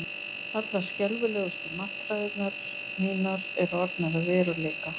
Allar skelfilegustu martraðir mínar eru orðnar að veruleika.